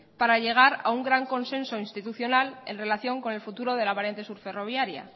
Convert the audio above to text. para llegar a un gran consenso institucional en relación con el futuro de la variante subferroviaria